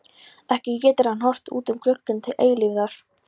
Ekki getur hann horft út um gluggann til eilífðar.